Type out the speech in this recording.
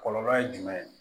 Kɔlɔlɔ ye jumɛn ye